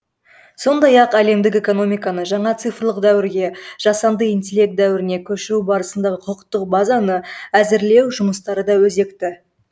сондай ақ әлемдік экономиканы жаңа цифрлық дәуірге жасанды интеллект дәуіріне көшіру барысындағы құқықтық базаны әзірлеу жұмыстары да өзекті